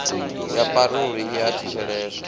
ya parole i a thetsheleswa